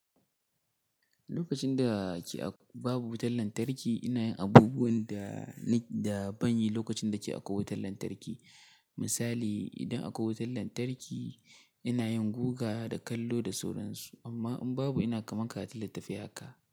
Lokacin da ke babu wutar lantarki, ina yin abubuwan da na, da ban yi lokacin da ke akwai wutar lantarki. Misali, idan akwai wutar lantarki, ina yin guga da kallo da sauransu. Amma in babu, ina kaman karatun littafai haka.